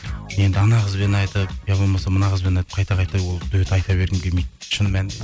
енді анау қызбен айтып иә болмаса мына қызбен айтып қайта қайта ол дуэт айта бергім келмейді шын